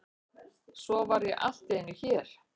Svo var ég allt í einu hér.